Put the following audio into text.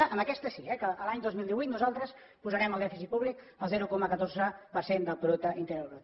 que amb aquesta sí eh que a l’any dos mil divuit nosaltres posarem el dèficit públic al zero coma catorze per cent del producte interior brut